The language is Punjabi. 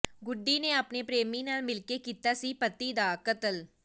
ਗੁੱਡੀ ਨੇ ਆਪਣੇ ਪ੍ਰੇਮੀ ਨਾਲ ਮਿਲ ਕੇ ਕੀਤਾ ਸੀ ਪਤੀ ਦਾ ਕਤਲ